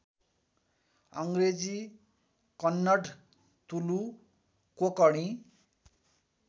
Angrezi Kannada Tulu Konkani